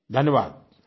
धन्यवाद आई